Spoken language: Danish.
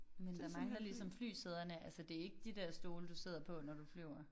Men der mangler ligesom flysæderne altså det ikke de der stole du sidder på når du flyver